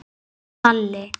Elsku afi Kalli.